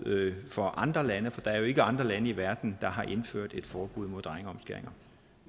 for andre lande for der er jo ikke andre lande i verden der har indført et forbud mod drengeomskæring